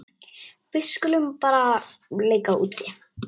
Við skulum bara leika úti.